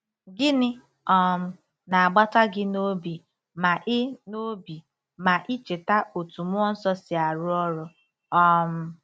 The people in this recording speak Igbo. GỊNỊ um na-agbata gị n'obi ma i n'obi ma i cheta otú mmụọ nsọ si arụ ọrụ? um